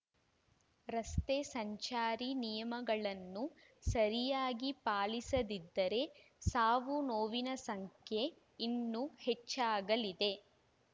ರಸ್ತೆ ಸಂಚಾರಿ ನಿಯಮಗಳನ್ನು ಸರಿಯಾಗಿ ಪಾಲಿಸದಿದ್ದರೆ ಸಾವು ನೋವಿನ ಸಂಖ್ಯೆ ಇನ್ನೂ ಹೆಚ್ಚಾಗಲಿದೆ